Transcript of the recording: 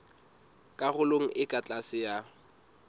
karolong e ka tlase ya